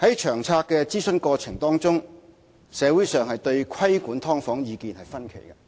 在《策略》諮詢過程當中，社會對規管"劏房"意見分歧。